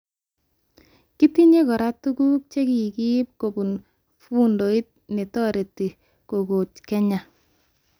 Kitinye kora tuguk chekikiib kobun fundiot netoret kokoch Kenya